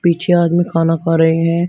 पीछे आदमी खाना खा रहे हैं।